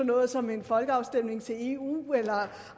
noget som en folkeafstemning til eu eller